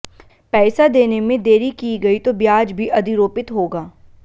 पैसा देने में देरी की गई तो ब्याज भी अधिरोपित होगा